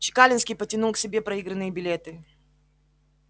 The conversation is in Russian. чекалинский потянул к себе проигранные билеты